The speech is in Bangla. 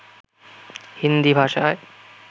হিন্দী ভাষায়